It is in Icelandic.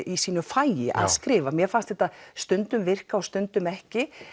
í sínu fagi að skrifa mér fannst þetta stundum virka og stundum ekki